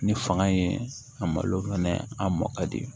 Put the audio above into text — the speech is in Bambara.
Ni fanga ye a malo fɛnɛ a mɔ ka di